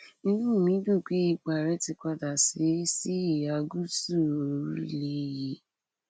inú mi dùn pé ipò ààrẹ ti padà sí sí ìhà gúúsù orílẹ yìí